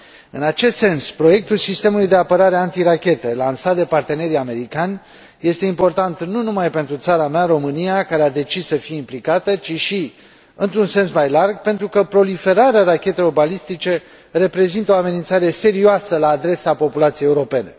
În acest sens, proiectul sistemului de apărare antirachetă lansat de partenerii americani este important nu numai pentru țara mea, România, care a decis să fie implicată, ci și, într un sens mai larg, pentru că proliferarea rachetelor balistice reprezintă o amenințare serioasă la adresa populației europene.